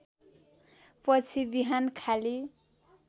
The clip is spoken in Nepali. पछि बिहान खाली